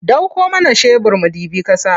Ɗauko mana shebir mu ɗibi ƙasa.